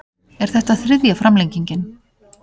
Er þetta þriðja framlengingin